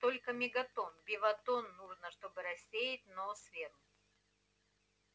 сколько мегатонн беватонн нужно чтобы рассеять ноосферу